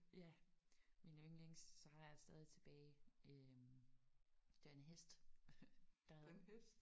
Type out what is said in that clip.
Ja mine yndlings. Så har jeg stadig tilbage øh det var en hest der havde